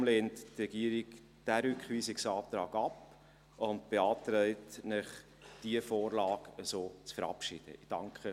Deshalb lehnt die Regierung diesen Rückweisungsantrag ab und beantragt Ihnen, die Vorlage so zu verabschieden.